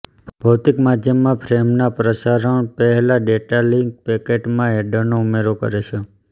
ભૌતિક માધ્યમમાં ફ્રેમના પ્રસારણ પહેલા ડેટા લીંક પેકેટમાં હેડરનો ઉમેરો કરે છે